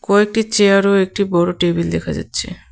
কয়টি চেয়ার ও একটি বড় টেবিল দেখা যাচ্ছে.